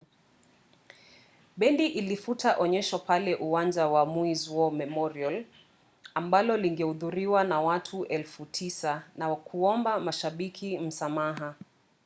bendi ilifuta onyesho pale uwanja wa maui’s war memorial ambalo lingehudhuriwa na watu 9,000 na kuwaomba mashabiki msamaha